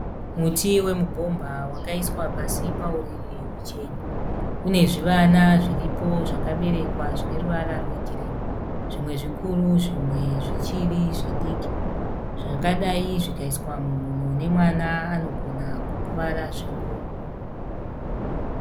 Muti wemubhomba wakaiswa pasi pauriri uchena . Unezvivana zviripo zvakaberekwa zvine ruvara rwegirini . Zvimwe zvikuru zvimwe zvichiri zvidiki. zvakadai zvikaiswa munhu unemwana anogona kukuvara zvikuru.